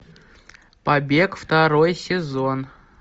побег второй сезон